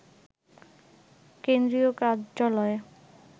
কেন্দ্রীয় কার্যালয়ে